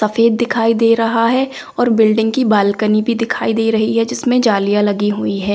सफेद दिखाई दे रहा है और बिल्डिंग की बालकनी भी दिखाई दे रही है जिसमें जालियां लगी हुई है।